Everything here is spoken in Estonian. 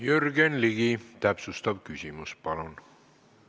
Jürgen Ligi, täpsustav küsimus, palun!